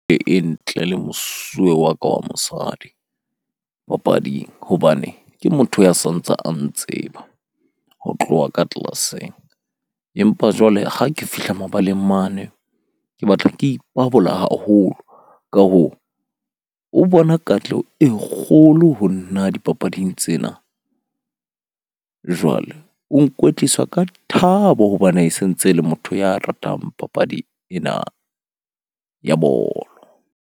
Ntle le mosuwe wa ka wa mosadi papading hobane ke motho ya santsa a ntseba ho tloha ka tlelaseng. Empa jwale ha ke fihla mabaleng mane ke batla ke ipabola haholo, ka ho o bona katleho e kgolo ho nna dipapading tsena. Jwale o nkwetlisa ka thabo hobane e sentse le motho ya ratang papadi ena ya bolo.